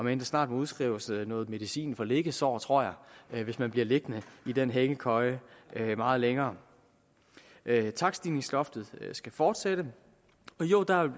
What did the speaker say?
vel snart udskrives noget medicin for liggesår tror jeg hvis man bliver liggende i den hængekøje meget længere takststigningsloftet skal fortsætte og jo der